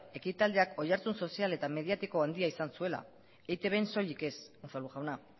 ekitaldiak oihartzun sozial eta mediatiko handia izan zuela eitbn soilik ez unzalu jauna